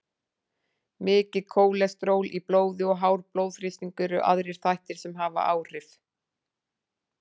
Mikið kólesteról í blóði og hár blóðþrýstingur eru aðrir þættir sem hafa áhrif.